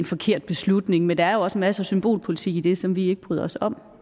forkert beslutning men der er jo også en masse symbolpolitik i det som vi ikke bryder os om